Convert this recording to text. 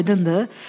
Aydındır?